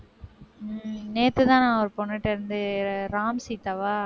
உம் நேத்துதான், ஒரு பொண்ணுகிட்ட இருந்து ராம் சீதாவா?